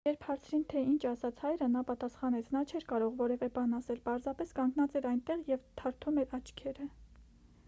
երբ հարցին թե ինչ ասաց հայրը նա պատասխանեց նա չէր կարող որևէ բան ասել պարզապես կանգնած էր այնտեղ և թարթում էր աչքերը